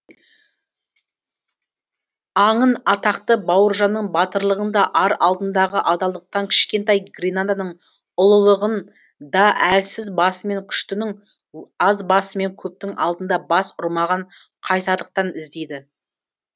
аңын атақты бауыржанның батырлығын да ар алдындағы адалдықтан кішкентай гренаданың ұлылығын да әлсіз басымен күштінің аз басымен көптің алдында бас ұрмаған қайсарлықтан іздейді